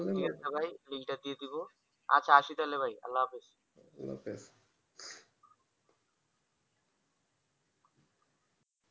দিয়ে সবাই link টা দিয়ে দেব আচ্ছা আসি তাহলে ভাই আল্লাহ হাফিজ